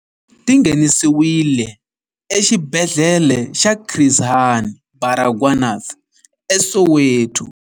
Ti nghenisiwile Exibedhlele xa Chris Hani Baragwanath eSoweto.